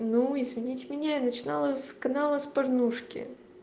ну извините меня я начинала с канала с порнушки